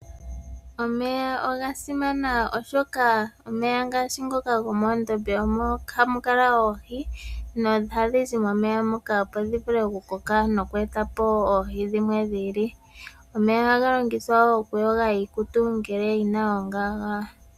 Omeya oga simana oshoka, omeya ngaashi ngoka gomoondombe omo hamukala ohi no ohadhi oha dhi zi momeya moka opo dhi vule oku koka noku eta po oohi dhimwe dhi ili. Omeya oha ga longithwa woo okuyoga iikutu ngele yina oongaga.